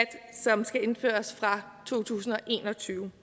som skal indføres fra to tusind og en og tyve